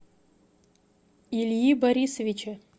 ильи борисовича